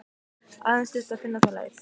Aðeins þyrfti að finna þá leið.